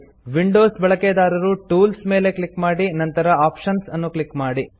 Windows ಬಳಕೆದಾರರು tools ಮೇಲೆ click ಮಾಡಿ ನಂತರ ಆಪ್ಷನ್ಸ್ ಅನ್ನು ಕ್ಲಿಕ್ ಮಾಡಿ